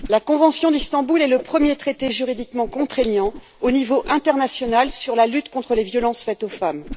La convention d'Istanbul est le premier traité juridiquement contraignant au niveau international sur la lutte contre les violences faites aux femmes.